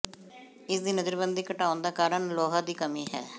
ਇਸ ਦੀ ਨਜ਼ਰਬੰਦੀ ਘਟਾਉਣ ਦਾ ਕਾਰਨ ਲੋਹਾ ਦੀ ਕਮੀ ਹੈ